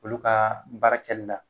Olu ka baara kɛli la